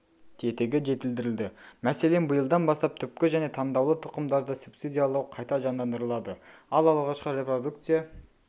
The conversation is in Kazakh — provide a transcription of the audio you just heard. тетігі жетілдірілді мәселен биылдан бастап түпкі және таңдаулы тұқымдарды субсидиялау қайта жандандырылады ал алғашқы репродукция